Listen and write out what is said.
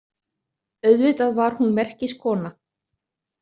Auðvitað var hún merkiskona.